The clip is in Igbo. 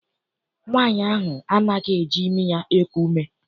Nwaanyi ahụ anaghịzi eji imi ya eku ume.